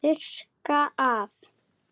Þurrka af.